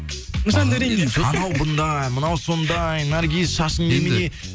жандәуренге анау бұндай мынау сондай наргиз шашың немене